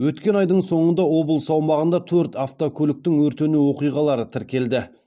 өткен айдың соңында облыс аумағында төрт автокөліктің өртену оқиғалары тіркелді